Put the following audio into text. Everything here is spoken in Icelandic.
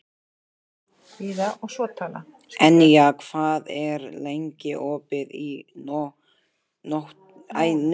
Enja, hvað er lengi opið í Nóatúni?